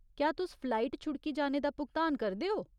क्या तुस फलाइट छुड़की जाने दा भुगतान करदे ओ?